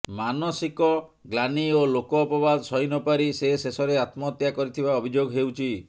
ମାନସିକ ଗ୍ଲାନି ଓ ଲୋକ ଅପବାଦ ସହି ନ ପାରି ସେ ଶେଷରେ ଆତ୍ମହତ୍ୟା କରିଥିବା ଅଭିଯୋଗ ହେଉଛି